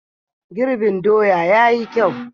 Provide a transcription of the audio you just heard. Girbin doya ya yi kyau.